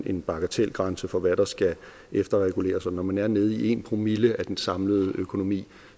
en bagatelgrænse for hvad der skal efterreguleres og når man er nede i en promille af den samlede økonomi